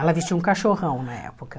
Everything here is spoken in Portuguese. Ela vestia um cachorrão na época.